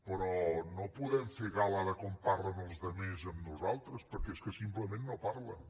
però no podem fer gala de com parlen els altres amb nosaltres perquè és que simplement no hi parlen